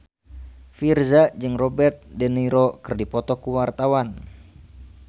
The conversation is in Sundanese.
Virzha jeung Robert de Niro keur dipoto ku wartawan